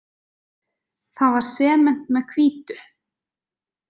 Það var sement með hvítu.